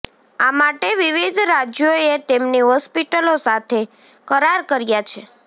આ માટે વિવિધ રાજ્યોએ તેમની હોસ્પિટલો સાથે કરાર કર્યાં છે